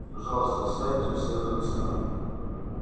пожалуйста сядьте все на места